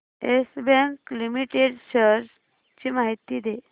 yes Bank Limited shares ची माहिती दे